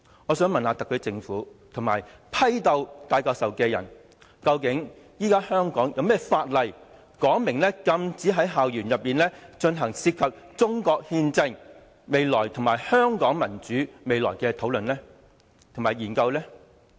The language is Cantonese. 我想問特區政府和批鬥戴教授的人，究竟現時香港有何法例，明文禁止在校園內進行涉及中國憲政和香港民主未來的討論和研究？